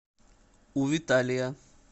у виталия